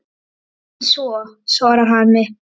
Síður en svo, svarar Hemmi.